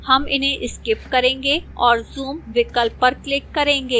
हम इन्हें skip करेंगे और zoom विकल्प पर click करेंगे